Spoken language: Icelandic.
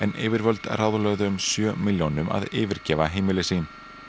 yfirvöld ráðlögðu um sjö milljónum að yfirgefa heimili sín